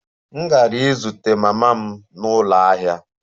M gara izute mama m n'ụlọ ahịa